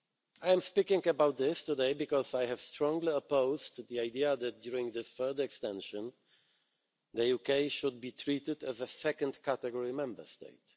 I am speaking about this today because I have strongly opposed the idea that during this further extension, the UK should be treated as a second category Member State.